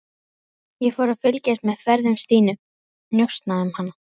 Ég fór að fylgjast með ferðum Stínu, njósna um hana.